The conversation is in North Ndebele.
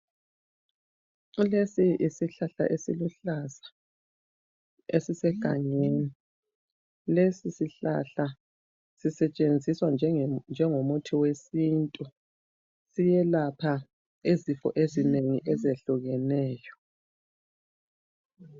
Lesi yisihlahla esiluhlaza esisegangeni. Lesi sihlahla sisetshenziswa njengomuthi wesintu. Siyelapha izifo ezinengi ezehlukeneyo.